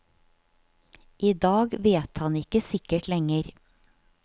I dag vet han ikke sikkert lenger.